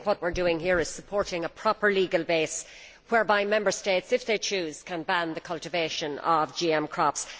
What we are doing here is supporting a proper legal basis whereby Member States, if they choose, can ban the cultivation of GM crops.